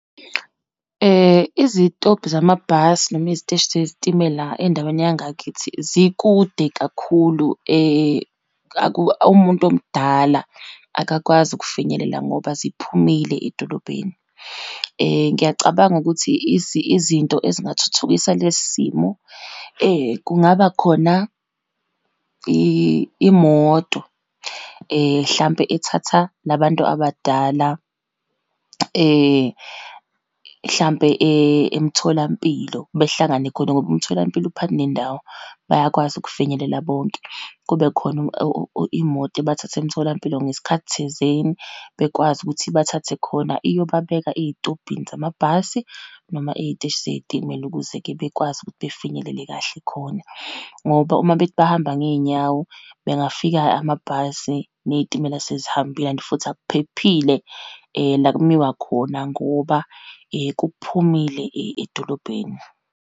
Izitobhi zamabhasi, noma eziteshi zezitimela endaweni yangakithi zikude kakhulu. Umuntu omdala akakwazi ukufinyelela ngoba ziphumile edolobheni. Ngiyacabanga ukuthi izinto ezingathuthukisa lesi simo, kungaba khona imoto hlampe ethatha la bantu abadala hlampe emtholampilo behlangane khona ngoba umtholampilo uphakathi nendawo, bayakwazi ukufinyelela bonke. Kube khona imoto ebathatha emtholampilo ngesikhathi thizeni, bekwazi ukuthi ibathathe khona iyobabeka ey'tobhini zamabhasi, noma ey'teshi zeyitimela, ukuze-ke bekwazi ukuthi befinyelele kahle khona. Ngoba uma bethi bahamba ngeyinyawo, bengafika amabhasi neyitimela, sezihambile and futhi akuphephile la kumiwa khona ngoba kuphumile edolobheni.